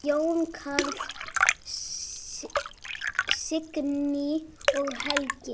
Jón Karl, Signý og Helgi.